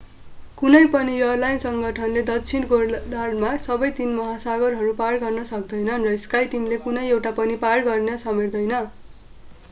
कुनै पनि एयरलाइन सङ्गठनले दक्षिणी गोलार्द्धमा सबै तीन महासागरहरू पार गर्ने समेट्दैन र skyteam ले कुनै एउटा पनि पार गर्ने समेट्दैन।